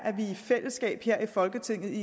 med til